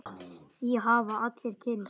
Því hafa allir kynnst.